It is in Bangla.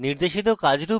নির্দেশিত কাজ রূপে